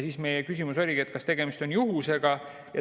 Meie küsimus oligi, kas tegemist on juhusega.